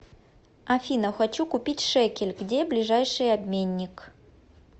афина хочу купить шекель где ближайший обменник